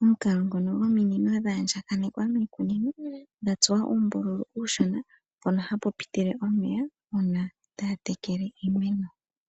Omukalo ngoka gwominino dhaandjakanekwa miikunino, dha tsuwa uumbululu uushona , mpono hapu pitile omeya uuna taa tekele iimeno.